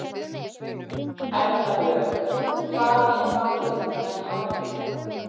Erla Björg: Hvað er málið með hárið?